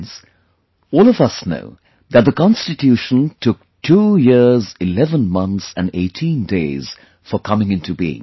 Friends, all of us know that the Constitution took 2 years 11 months and 18 days for coming into being